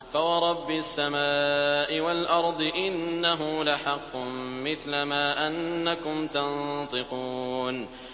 فَوَرَبِّ السَّمَاءِ وَالْأَرْضِ إِنَّهُ لَحَقٌّ مِّثْلَ مَا أَنَّكُمْ تَنطِقُونَ